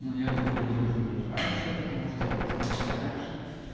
но я походу уже выйду раньше потому что я проснулся раньше